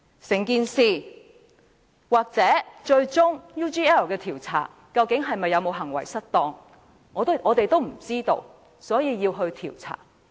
就 UGL 一事，最終究竟梁振英有否行為失當，我們不知道，所以便要調查。